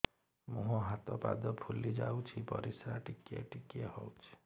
ମୁହଁ ହାତ ପାଦ ଫୁଲି ଯାଉଛି ପରିସ୍ରା ଟିକେ ଟିକେ ହଉଛି